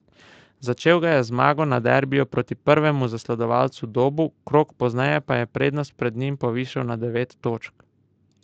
Začel ga je z zmago na derbiju proti prvemu zasledovalcu Dobu, krog pozneje pa je prednost pred njim povišal na devet točk.